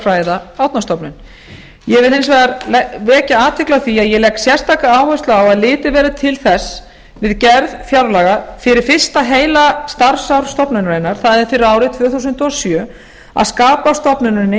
fræða árnastofnun ég vil hins vegar vekja athygli á því að ég legg sérstaka áherslu á að litið verði til þess við gerð fjárlaga fyrir fyrsta heila starfsár stofnunarinnar það er fyrir árið tvö þúsund og sjö að skapa stofnuninni